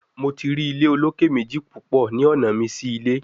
Mo ti ri ile oloke meji pupọ ni ọna mi si ile